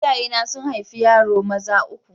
Iyayena sun haifi yaro maza uku.